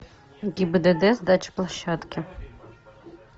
гибдд сдача площадки